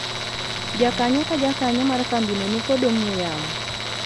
jakanyo ka jakanyo mar kambino nikod ong'we yamo